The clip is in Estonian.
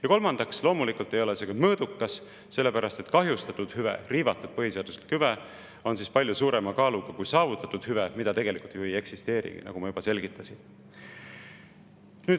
Ja kolmandaks, loomulikult ei ole see meede ka mõõdukas, sellepärast et kahjustatud hüve, riivatud põhiseaduslik hüve on palju suurema kaaluga kui saavutatud hüve, mida tegelikult ju ei eksisteerigi, nagu ma juba selgitasin.